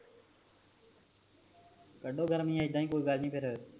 ਕਡੋ ਗਰਮੀ ਏਦਾਂ ਹੀ ਕੋਈ ਗੱਲ ਨਹੀਂ ਫੇਰ